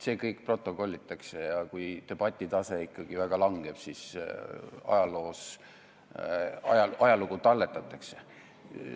See kõik protokollitakse ja kui ka debati tase ikkagi väga langeb, ajalugu talletatakse.